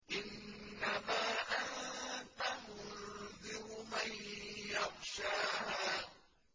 إِنَّمَا أَنتَ مُنذِرُ مَن يَخْشَاهَا